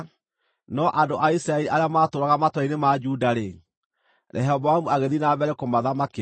No andũ a Isiraeli arĩa maatũũraga matũũra-inĩ ma Juda-rĩ, Rehoboamu agĩthiĩ na mbere kũmathamakĩra.